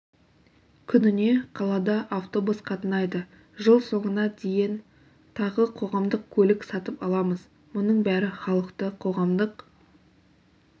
күніне қалада автобус қатынайды жыл соңына дейін тағы қоғамдық көлік сатып аламыз мұның бәрі халықты қоғамдық